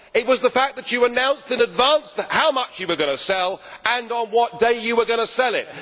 It was the fact that you announced in advance how much you were going to sell and on what day you were going to sell it.